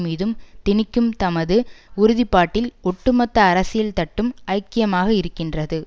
மீதும் தினிக்கும் தமது உறுதிப்பாட்டில் ஒட்டு மொத்த அரசியல் தட்டும் ஐக்கியமாக இருக்கின்றது